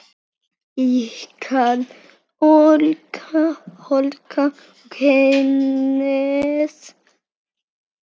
Ykkar Olga og Hannes.